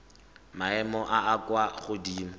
maemong a a kwa godimo